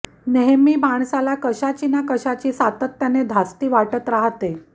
नेहमी माणसाला कशाची ना कशाची सातत्याने धास्ती वाटत राहते